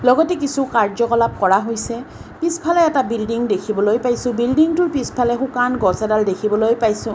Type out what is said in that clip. লগতে কিছু কাৰ্য্যকলাপ কৰা হৈছে পিছফালে এটা বিল্ডিং দেখিবলৈ পাইছোঁ বিল্ডিংটোৰ পিছফালে শুকান গছ এডাল দেখিবলৈ পাইছোঁ।